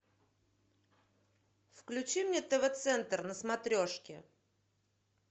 включи мне тв центр на смотрешке